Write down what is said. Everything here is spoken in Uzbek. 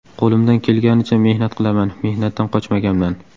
Qo‘limdan kelganicha mehnat qilaman, mehnatdan qochmaganman.